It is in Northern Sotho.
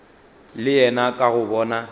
le yena ka go bona